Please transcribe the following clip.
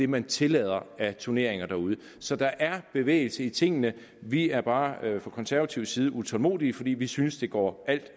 man tillader af turneringer derude så der er bevægelse i tingene vi er bare fra konservativ side utålmodige fordi vi synes det går alt